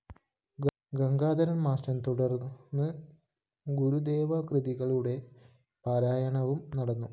Gangadharan‍ master തുടര്‍ന്ന് ഗുരുദേവകൃതികളുടെ പാരായണവും നടന്നു